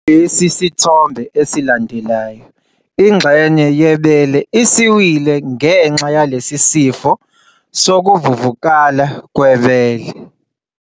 Lesi sithombe esilandelayo, ingxenye yebele isiwile ngenxa yalesi sifo sokuvuvuka kwebele.